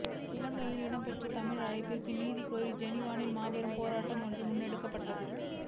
இலங்கையில் இடம்பெற்ற தமிழின அழிப்பிற்கு நீதி கோரி ஜெனிவாவில் மாபெரும் போராட்டம் ஒன்று முன்னெடுக்கப்ப